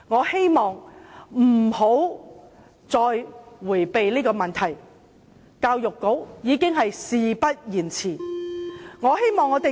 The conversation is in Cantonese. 希望教育局不要再迴避這個問題，事不宜遲。